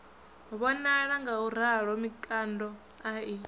vhonala ngauralo mikando a i